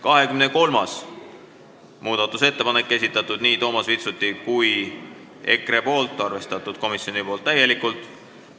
23. muudatusettepaneku on esitanud nii Toomas Vitsut kui ka EKRE fraktsioon, komisjon on täielikult arvestanud.